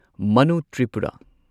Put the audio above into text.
Manu Tripura